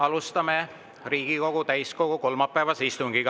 Alustame Riigikogu täiskogu kolmapäevast istungit.